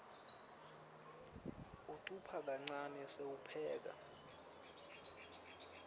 ucupha kancane sewupheka